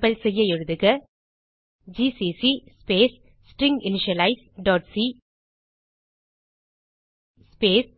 compile செய்ய எழுதுக GCC space stringinitializeசி ஸ்பேஸ்